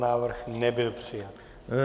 Návrh nebyl přijat.